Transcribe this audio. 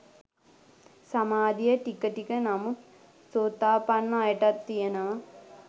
සමාධිය ටික ටික නමුත් සෝතාපන්න අයටත් තියෙනවා